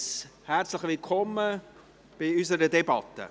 Herzlich willkommen bei unserer Debatte.